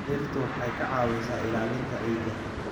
Dhirtu waxay ka caawisaa ilaalinta ciidda.